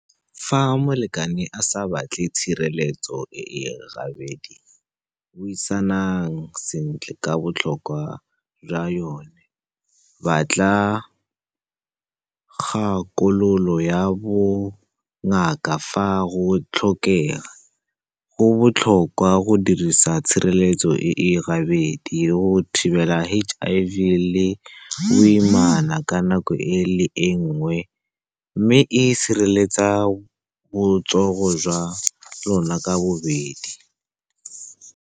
Fa molekane a sa batle tshireletso e e gabedi, buisanang sentle ka botlhokwa jwa yone. Batla kgakololo ya bongaka fa go tlhokega. Go botlhokwa go dirisa tshireletso e e gabedi go thibela H_I_V le boimana ka nako e le nngwe, mme e sireletsa botsogo jwa lona ka bobedi.